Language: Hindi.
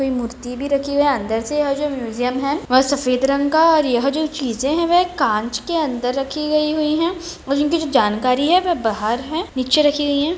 इसमें मूर्ति भी रखी हुई है अन्दर से और जो म्युसियम है वह सफ़ेद रंग का है और यह जो चीजें हैं वह कांच के अन्दर रखी गई है और इनकी जो जानकारी है बह बाहर है निचे रखी गई हैं।